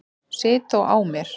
Sit þó á mér.